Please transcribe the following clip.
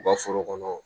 U ka foro kɔnɔ